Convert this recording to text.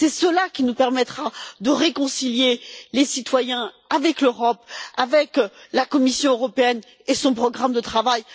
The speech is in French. C'est cela qui nous permettra de réconcilier les citoyens avec l'Europe, avec la Commission européenne et son programme de travail.